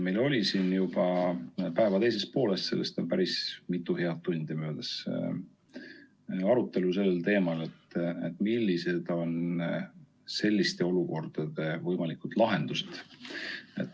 Meil oli siin juba päeva teises pooles, sellest on päris mitu head tundi möödas, arutelu sel teemal, et millised on selliste olukordade võimalikud lahendused.